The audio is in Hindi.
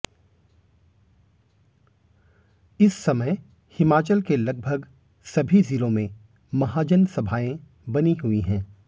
इस समय हिमाचल के लगभग सभी जिलों में महाजन सभाएं बनी हुई हैं